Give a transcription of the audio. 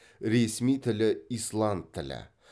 ресми тілі исланд тілі